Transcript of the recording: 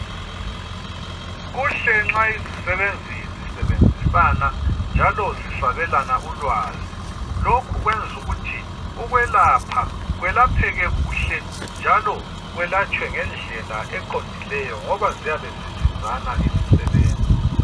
Kuhle nxa izisebenzi zisebenzisana, njalo zisabelana ulwazi. Lokhu kwenzu ukuthi ukwelapha, kwelapheke kuhle, njalo kwelatshwe ngendlela eqondileyo, ngoba ziyabe zisizana izisebenzi.